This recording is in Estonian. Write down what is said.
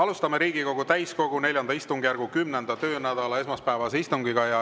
Alustame Riigikogu täiskogu IV istungjärgu 10. töönädala esmaspäevast istungit.